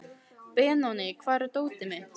Benóný, hvar er dótið mitt?